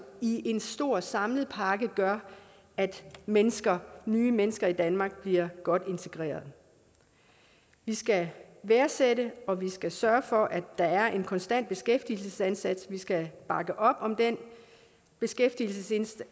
i én stor samlet pakke gør at mennesker nye mennesker i danmark bliver godt integreret vi skal værdsætte og vi skal sørge for at der er en konstant beskæftigelsesindsats vi skal bakke op om den beskæftigelsesindsats